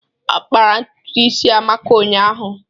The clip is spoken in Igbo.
A kpara ntutu isi Amaka ụnyaahụ.